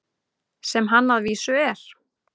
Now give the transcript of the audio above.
Sem hann að vísu er.